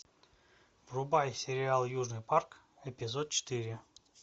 врубай сериал южный парк эпизод четыре